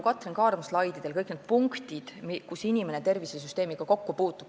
Katrin Kaarma slaididel olid kõik need punktid, kus inimene tervishoiusüsteemiga kokku puutub.